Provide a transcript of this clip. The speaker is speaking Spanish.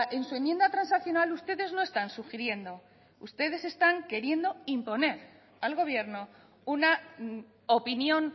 en su enmienda transaccional ustedes no están sugiriendo ustedes están queriendo imponer al gobierno una opinión